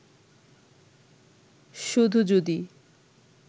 শুধু যদি